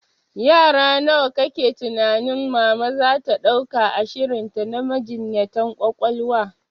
Yara nawa kake tunanin mama zata dauka a shirinta na majinyatan ƙwaƙwalwa?